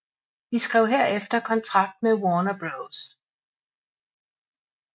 De skrev herefter kontrakt med Warner Bros